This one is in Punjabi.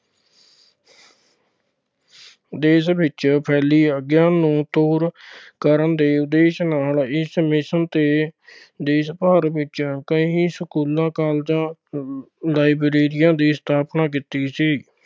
ਦੇਸ਼ ਵਿੱਚ ਫੈਲੇ ਅਗਿਆਨ ਨੂੰ ਦੂਰ ਕਰਨ ਦੇ ਉਦੇਸ਼ ਨਾਲ ਇਸ mission ਤੇ ਦੇਸ਼ ਭਰ ਵਿੱਚ ਕਈ ਸਕੂਲਾਂ ਕਾਲਜਾਂ ਵਿੱਚ libraries ਦੀ ਸਥਾਪਨਾ ਕੀਤੀ ਸੀ।